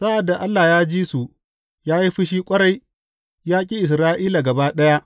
Sa’ad da Allah ya ji su, ya yi fushi ƙwarai; ya ƙi Isra’ila gaba ɗaya.